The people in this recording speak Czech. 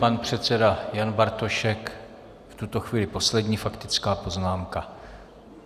Pan předseda Jan Bartošek, v tuto chvíli poslední faktická poznámka.